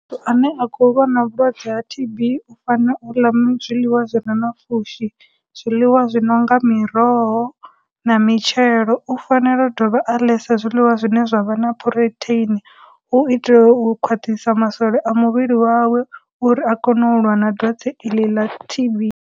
Muthu ane a khou lwa na vhulwadze ha T_B, u fanela u ḽa zwiḽiwa zwire na pfhushi, zwiḽiwa zwi no nga miroho na mitshelo, u fanela u dovha a ḽesa zwiḽiwa zwine zwa vha na protein u itela u khwaṱhisa masole a muvhili wawe uri a kone u lwa na dwadze iḽi ḽa T_B.